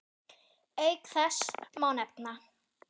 Auk þess má nefna